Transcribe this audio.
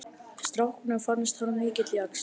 Strákunum fannst hann mikill jaxl.